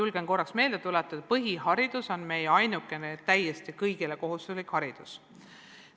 Nagu ma julgen meelde tuletada, on põhiharidus meie ainukene kõigile kohustuslik haridus.